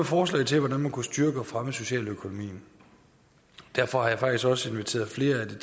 forslag til hvordan man kunne styrke og fremme socialøkonomien derfor har jeg faktisk også inviteret flere af det